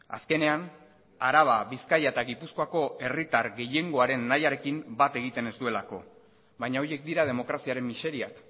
azkenean araba bizkaia eta gipuzkoako herritar gehiengoaren nahiarekin bat egiten ez duelako baina horiek dira demokraziaren miseriak